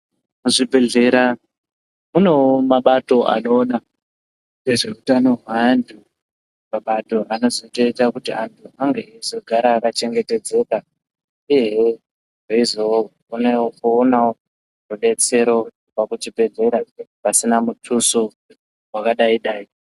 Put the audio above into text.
Muzvibhedhlera munewo mabato anoona nezveutano hweanhu mabato akazoita kuti antu ange eigara akachengetedzeka uyewo veizoonawo rubetsero kubva kuchibhedhlera pasina mutuso wakadaidai.